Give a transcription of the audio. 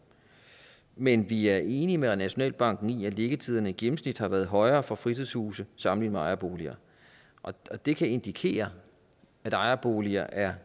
men vi er enige med nationalbanken i at liggetiderne i gennemsnit har været højere for fritidshuse sammenlignet med ejerboliger og det kan indikere at ejerboliger er